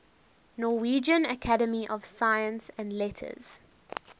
norwegian academy of science and letters